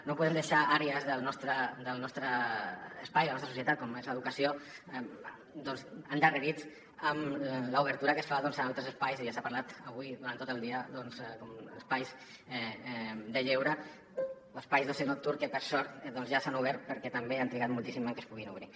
no podem deixar àrees del nostre espai de la nostra societat com és l’educació doncs endarrerits amb l’obertura que es fa a altres espais i ja s’ha parlat avui durant tot el dia com espais de lleure o espais d’oci nocturn que per sort ja s’han obert perquè també han trigat moltíssim en què es puguin obrir